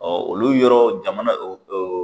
Ɔ olu yɔrɔ jamana o o